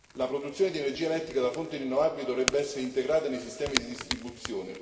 La produzione di energia elettrica da fonti rinnovabili dovrebbe essere integrata nei sistemi di distribuzione.